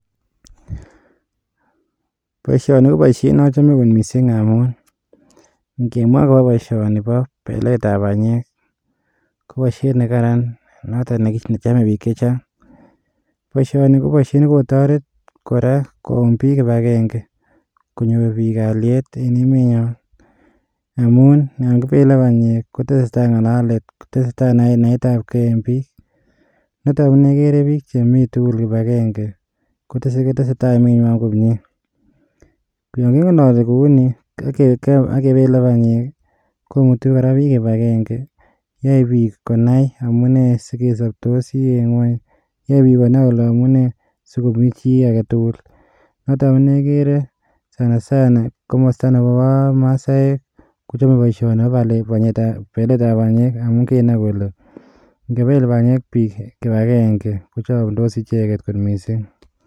Boishoni, ko boishiet neochome kot missing amun, ingemwa akobo boishoni bo beletab banyeek, koboishiet nekaran notok nechome biik chechang. Boishoni ko boishiet nekotoret, koyuum bik kipagenge, konyoor bik Kalyet en emenyoon. Amun yon kibele benyeek koteseta, nga'lalet kotese tai naetab gei en biik. Nitok konegere biik chemitugul kibagenge, kotesetai emenywan. Angen ale kouni, kegeregei ak kebele banyeek komutu kora biik kibagenge, yoe biik konai amune sikosobtosi en ngwony. Noe biik kole amune sikomii chi agetugul. Notok amune igere sanasana komosto Nebo masaek kochome booishoni bo banyeek, beletanb banyeek amun kinai kole, ingebeel banyeek biik, kibagenge kochomdos icheket kot missing.